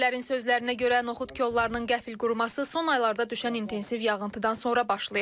Fermerlərin sözlərinə görə noxud kollarının qəfil quruması son aylarda düşən intensiv yağıntıdan sonra başlayıb.